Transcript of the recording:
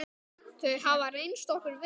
Þau hafa reynst okkur vel.